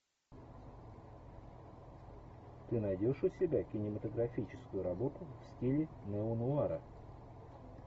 ты найдешь у себя кинематографическую работу в стиле неонуара